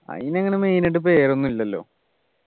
അയിനങ്ങനെ main ആയിട്ട് പേരൊന്നും ഇല്ലല്ലോ